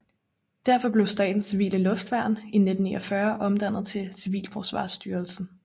Derfor blev Statens Civile Luftværn i 1949 omdannet til Civilforsvarsstyrelsen